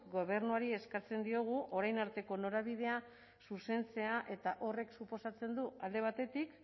gobernuari eskatzen diogu orain arteko norabidea zuzentzea eta horrek suposatzen du alde batetik